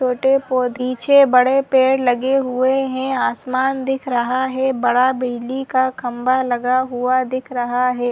छोटे पौधे पीछे बड़े पेड़ लगे हुए है आसमान दिख रहा है बड़ा बिजली का खंभा लगा हुआ दिख रहा है।